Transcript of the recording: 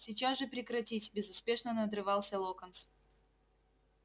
сейчас же прекратить безуспешно надрывался локонс